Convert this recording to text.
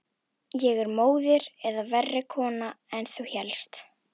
Er ég móðir eða verri kona en þú hélst?